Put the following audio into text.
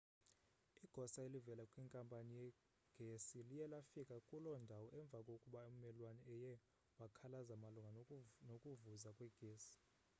igosa elivela kwinkampani yegesi liye lafika kuloo ndawo emva kokuba ummelwane eye wakhalaza malunga nokuvuza kwegesi